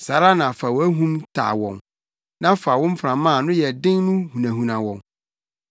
saa ara na fa wʼahum taa wɔn na fa wo mframa a ano yɛ den no hunahuna wɔn.